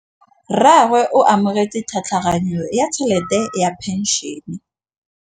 Rragwe o amogetse tlhatlhaganyô ya tšhelête ya phenšene.